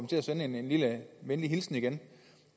til at sende en lille venlig hilsen igen